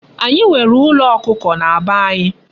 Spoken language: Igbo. Anyi nwere Ulo Okuko na be anyi